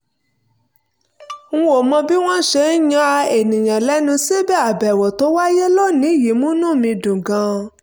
n ò mọ̀ bí wọ́n ṣe ń ya èèyàn lẹ́nu síbẹ̀ àbẹ̀wò tó wáyé lónìí yìí múnú mi dùn gan-an